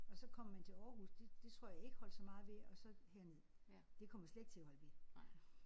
Og så kom man til Aarhus det det tror jeg ikke holdt så meget ved og så herned. Det kommer slet ikke til at holde ved